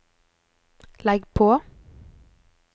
legg på